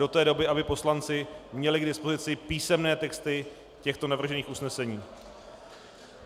Do té doby aby poslanci měli k dispozici písemné texty těchto navržených usnesení.